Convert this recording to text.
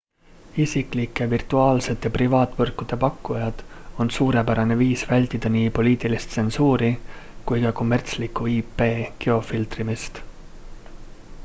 isiklike virtuaalsete privaatvõrkude pakkujad on suurepärane viis vältida nii poliitilist tsensuuri kui ka kommertslikku ip-geofiltrimist